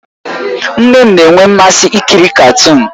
Nne m na-enwe mmasị ikiri katuun